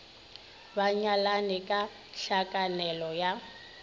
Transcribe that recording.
ba nyalane ka tlhakanelo ya